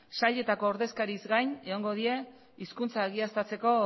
sailetako ordezkariez gain egongo dira hizkuntza egiaztatzeko